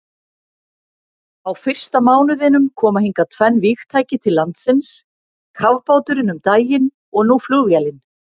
Á fyrsta mánuðinum koma hingað tvenn vígtæki til landsins, kafbáturinn um daginn og nú flugvélin.